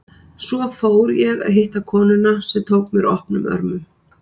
Svo fór ég að hitta konuna, sem tók mér opnum örmum.